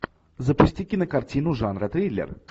запусти кинокартину жанра триллер